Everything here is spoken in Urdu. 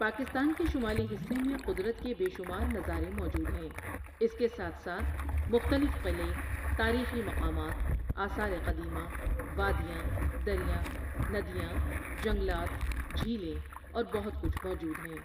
پاکستان کے شمالی حصے میں قدرت کے بے شمار نظارے موجود ہیں، اس کے ساتھ ساتھ مختلف قلعے، تاریخی مقامات، آثارقدیمہ، وادیاں، دریاں، ندیاں، جنگلات ،جھیلیں اور بہت کچھ موجود ہیں